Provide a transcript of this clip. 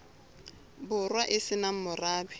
borwa e se nang morabe